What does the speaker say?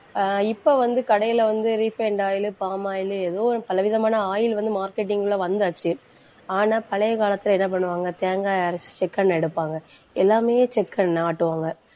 ஆஹ் இப்ப வந்து, கடையில வந்து refined oil, palm oil ஏதோ, பல விதமான oil வந்து marketing ல வந்தாச்சு ஆனா, பழைய காலத்துல என்ன பண்ணுவாங்க? தேங்காயை அரைச்சு செக்கெண்ண எடுப்பாங்க. எல்லாமே செக்கெண்ணை ஆட்டுவாங்க.